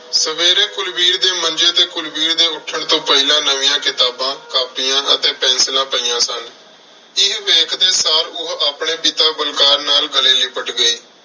ਸਵੇਰੇ ਕੁਲਵੀਰ ਦੇ ਮੰਜ਼ੇ ਤੇ ਕੁਲਵੀਰ ਦੇ ਉੱਠਣ ਤੋਂ ਪਹਿਲਾਂ ਨਵੀਆਂ ਕਿਤਾਬਾਂ, ਕਾਪੀਆਂ ਅਤੇ ਪੈਨਸਿਲਾਂ ਪਈਆਂ ਸਨ। ਇਹ ਵੇਖਦੇ ਸਾਰ ਉਹ ਆਪਣੇ ਪਿਤਾ ਬਲਕਾਰ ਨਾਲ ਗਲੇ ਲਿਪਟ ਗਈ।